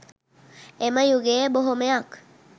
එම යුගයේ බොහොමයක්